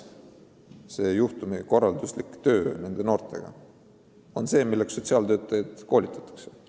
Juhtumikorralduslik töö nende noortega on oma olemuselt just see töö, milleks sotsiaaltöötajaid koolitatakse.